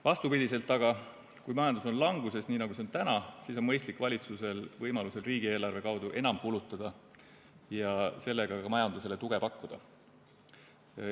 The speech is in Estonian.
Vastupidi aga, kui majandus on languses, nii nagu see on täna, siis on valitsusel mõistlik võimaluse korral riigieelarve kaudu enam kulutada ja sellega ka majandusele tuge pakkuda.